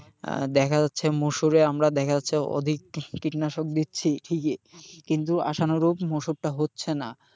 আহ দেখা যাচ্ছে মুসুরে আমরা দেখা যাচ্ছে অধিক কীটনাশক দিচ্ছি ঠিকই কিন্তু আশানুরূপ মুসুরটা হচ্ছে না,